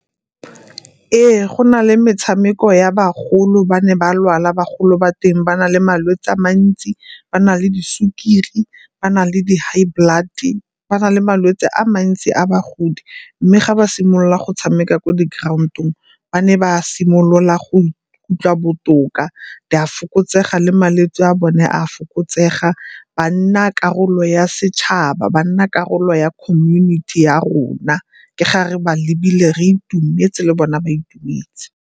Ee, go na le metshameko ya bagolo ba ne ba lwala bagolo ba teng ba na le malwetsi a mantsi, ba na le di sukiri, ba na le di-high blood-e. Ba na le malwetse a mantsi a bagodi mme ga ba simolola go tshameka ko di-ground-ong ba ne ba simolola go ikutlwa botoka, di a fokotsega le malwetse a bone a fokotsega ba nna karolo ya setšhaba, ba nna karolo ya community ya rona ke ga re ba lebile re itumetse le bone ba itumedise.